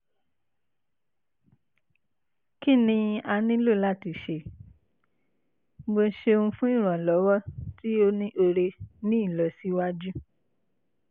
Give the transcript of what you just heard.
kini a nilo lati ṣe? mo ṣeun fun iranlọwọ ti o ni ore ni ilosiwaju